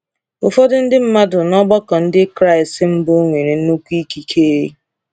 Ụfọdụ ndị mmadụ n’ọgbakọ Ndị Kraịst mbụ nwere nnukwu ikike.